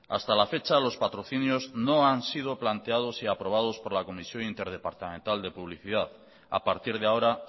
hasta la fecha los patrocinios no han sido planteados y aprobados por la comisión interdepartamental de publicidad a partir de ahora